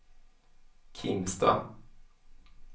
Kimstad